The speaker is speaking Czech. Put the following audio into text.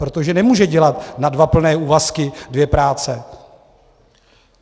Protože nemůže dělat na dva plné úvazky dvě práce.